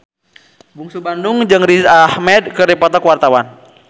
Bungsu Bandung jeung Riz Ahmed keur dipoto ku wartawan